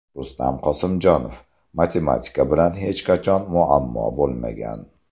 Rustam Qosimjonov: Matematika bilan hech qachon muammom bo‘lmagan.